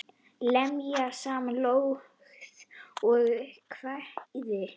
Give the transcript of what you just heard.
Lemja saman ljóð og kvæði.